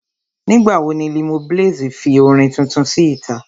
Nígbà wo ni Limoblaze fi orin tuntun sí ìta?